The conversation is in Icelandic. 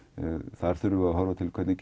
þar þurfum við að horfa til hvernig